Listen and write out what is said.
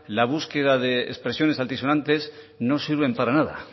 la búsqueda de expresiones altisonantes no sirven para nada